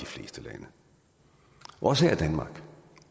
fleste lande også her i danmark